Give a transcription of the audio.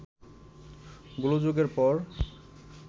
গোলযোগের পর